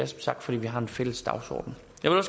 sagt fordi vi har en fælles dagsorden